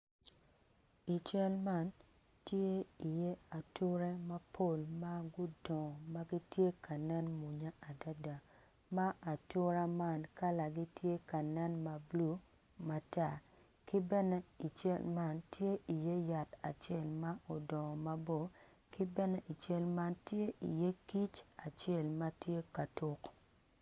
I cal man tye iye ature mapol ma gudongo ma gitye ka nen mwonya adada ma ature ma atura man kalagi tye ka nen ma blue matar ki bene i cal man tye iye yatacel ma odongo mabor ki bene i cal man tye iye kic ma tye ka tuk.